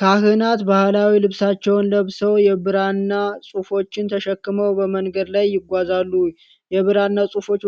ካህናት ባህላዊ ልብሳቸውን ለብሰው የብራና ጽሑፎችን ተሸክመው በመንገድ ላይ ይጓዛሉ። የብራና ጽሑፎቹ